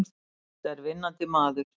Þetta er vinnandi maður!